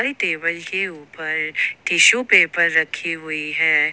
Table के ऊपर tissue paper रखी हुई है।